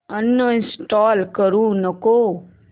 uninstall करू नको